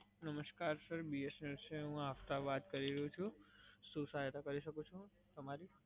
નમસ્કાર sir BSNL છે, હું આફતાબ વાત કરી રહ્યો છું. શું સહાયતા કરી શકું છું તમારી?